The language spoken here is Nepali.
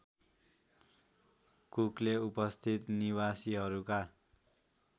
कुकले उपस्थित निवासीहरूका